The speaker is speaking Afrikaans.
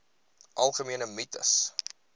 algemene mites